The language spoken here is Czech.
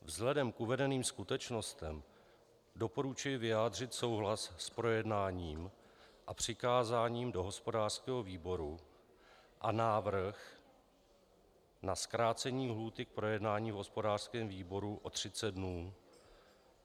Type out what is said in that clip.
Vzhledem k uvedeným skutečnostem doporučuji vyjádřit souhlas s projednáním a přikázáním do hospodářského výboru a návrh na zkrácení lhůty k projednání v hospodářském výboru o 30 dnů.